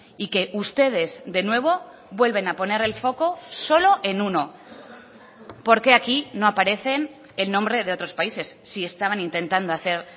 y que ustedes de nuevo vuelven a poner el foco solo en uno por qué aquí no aparecen el nombre de otros países si estaban intentando hacer